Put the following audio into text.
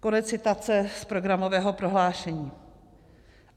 Konec citace z programového prohlášení.